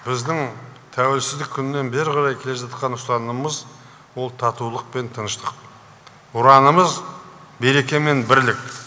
біздің тәуелсіздік күнінен бері қарай келе жатқан ұстанымымыз ол татулық пен тыныштық ұранымыз береке мен бірлік